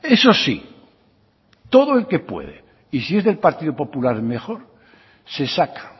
eso sí todo el que puede y si es del partido popular mejor se saca